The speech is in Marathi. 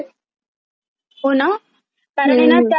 कारनेणा त्या नेहमी बघत असतात. unintelligible